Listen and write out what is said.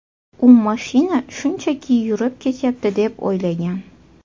U mashina shunchaki yurib ketyapti deb o‘ylagan.